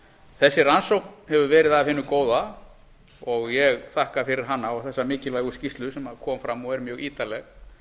þessi rannsókn hefur verið af hinu góða og ég þakka fyrir hana og þessa mikilvægu skýrslu sem kom fram og er mjög ítarleg